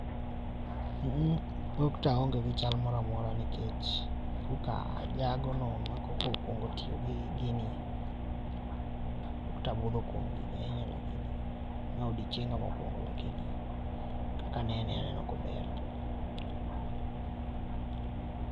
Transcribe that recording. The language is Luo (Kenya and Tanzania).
mm mm ok to aonge gi chal moro amora nikech koka ajagono ma koka okwongo tiyogi ginie. Pokta abudho kuom gini ahinya lakini ma odiochienga mokwongo lakini kaka anene aneno ka ober.